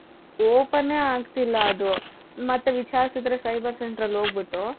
openಎ ಆಗ್ತಿಲ್ಲಾ ಅದು ಮತ್ತೆ ವಿಚಾರಿಸಿದರೆ cyber centerಅಲ್ಲಿ ಹೋಗ್ಬಿಟ್ಟು .